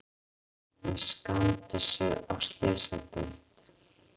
Með skammbyssu á slysadeild